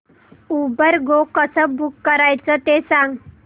Uber go कसं book करायचं ते सांग